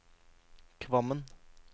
Kvammen